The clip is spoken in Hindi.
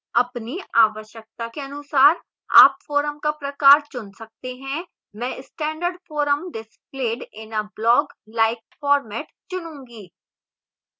अपनी आवश्यकता के अनुसार आप forum का प्रकार चुन सकते हैं मैं standard forum displayed in a bloglike format चुनुंगी